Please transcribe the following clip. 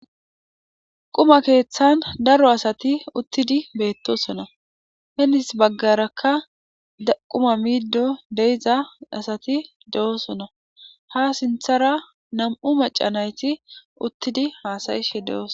Quma keeththan daro asati uttidi beettosona henis baggarakka quma miiddo deiza asati de7osona ha sinthara nam'u macanayti uttidi haasayishe de'ooso.